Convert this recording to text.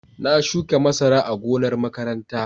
Na shuka masara a gonar makaranta.